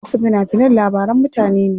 Wasu fina finan labaran mutane ne.